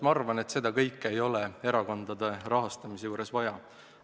Ma arvan, et seda kõike ei oleks erakondade rahastamise järelevalve juures vaja.